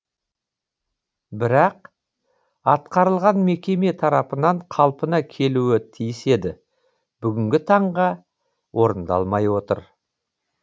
бірақ атқарылған мекеме тарапынан қалпына келуі тиіс еді бүгінгі таңға орындалмай отыр